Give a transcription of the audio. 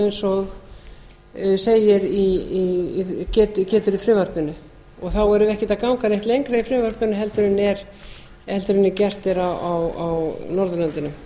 eins og getur í frumvarpinu og þá erum við ekkert að ganga neitt lengra í frumvarpinu en gert er á norðurlöndunum